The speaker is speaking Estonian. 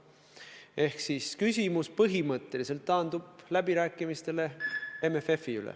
Ehk siis küsimus põhimõtteliselt taandub läbirääkimistele MFF-i üle.